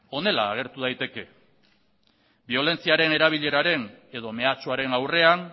honela agertu daiteke biolentziaren erabileraren edo mehatxuaren aurrean